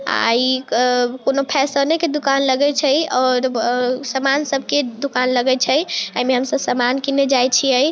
आ इ क कउनो फैसने के दूकान लगे छै और और व सामान सब के दूकान लगे छै एमे हम सब सामान किने जाइ छिए।